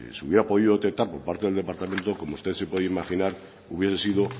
se hubiera podido detectar por parte del departamento como usted se puede imaginar hubiera sido